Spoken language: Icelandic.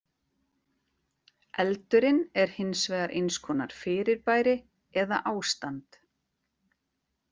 Eldurinn er hins vegar eins konar fyrirbæri eða ástand.